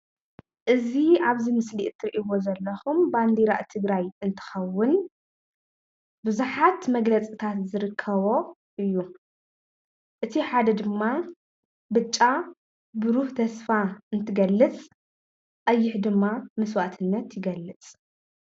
እዚ አብዚ ምስሊ እትሪኢዎ ዘለኩም ባንዲራ ትግራይ እንትከውን ብዛሓት መግለጽታት ዝርከቦ እዩ። እቲ ሓደ ድማ ብጫ ብሩህ ተስፋ እንትገልጸ ቀይሕ ድማ መስዋእትነት ይገልፅ።